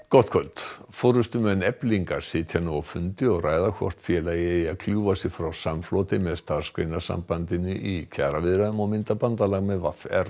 gott kvöld forystumenn Eflingar sitja nú á fundi og ræða hvort félagið eigi að kljúfa sig frá samfloti með Starfsgreinasambandinu í kjaraviðræðum og mynda bandalag með v r